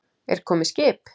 Er komið skip?